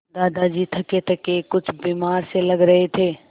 दादाजी थकेथके कुछ बीमार से लग रहे थे